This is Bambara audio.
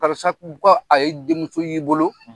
Karisa kun kɔ a ye denmuso y'i bolo.